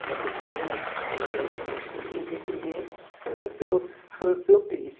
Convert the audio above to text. Até porque né quem vende o peixe tem que defender o seu o seu peixe.